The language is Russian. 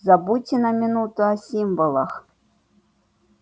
забудьте на минуту о символах